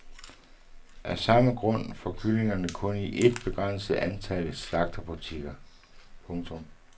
Af samme grund fås kyllingerne kun i et begrænset antal slagterbutikker. punktum